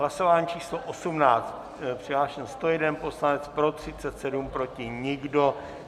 Hlasování číslo 18, přihlášen 101 poslanec, pro 37, proti nikdo.